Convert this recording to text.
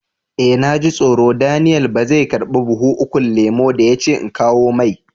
Eh, na ji tsoro Daniel ba zai karba buhun ukun lemu da ya ce in kawo mai.